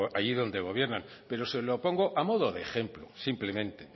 allí donde gobiernan pero se lo pongo a modo de ejemplo simplemente